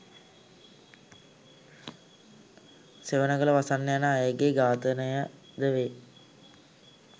සෙවණගල වසන්ත යන අයගේ ඝාතනය ද වේ.